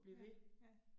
Ja ja